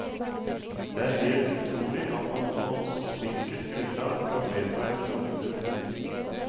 Det er helt utrolig at man på så spinkelt grunnlag kan vedta et forbud.